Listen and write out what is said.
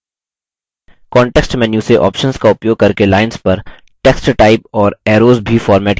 context menu से options का उपयोग करके lines पर text टाइप और arrows भी formatted किये जा सकते हैं